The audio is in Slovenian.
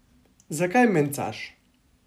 Zakaj mencaš?